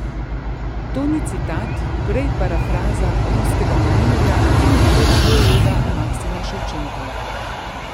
To ni citat, prej parafraza ruskega novinarja in religiologa Maksima Ševčenka.